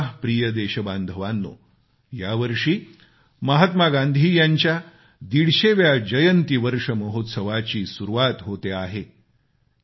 माझ्या प्रिय देशबांधवांनो यावर्षी महात्मा गांधी यांच्या दीडशेव्या जयंती वर्ष महोत्सवाची सुरुवात होते आहे